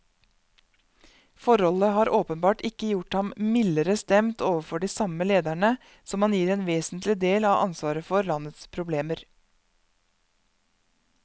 Forholdet har åpenbart ikke gjort ham mildere stemt overfor de samme lederne, som han gir en vesentlig del av ansvaret for landets problemer.